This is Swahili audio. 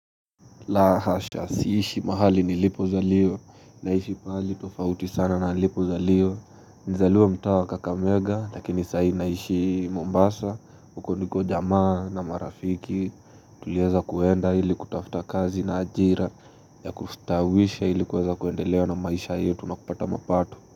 La hasha siishi mahali nilipo zaliwa Naishi pahali tofauti sana na nilipo zaliwa Nizaliwa mtaa kakamega Lakini sahii naishi Mombasa uko ndiko jamaa na marafiki Tulieza kuenda ili kutafuta kazi na ajira ya kustawisha ili kweza kuendelea na maisha yetu na kupata mapato.